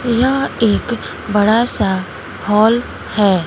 यह एक बड़ा सा हाल है।